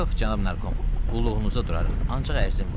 Yox, cənab Narkom, qulluğunuza durarıq, ancaq ərzim var.